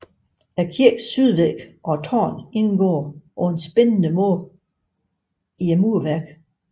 Kirkens sydvæg og tårn indgår på en spændende måde i murværket